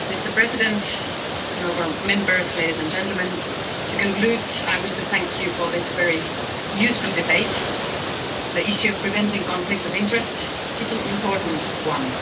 Mr President, honourable Members, ladies and gentlemen, to conclude, I wish to thank you for this very useful debate. The issue of preventing conflicts of interest is an important one.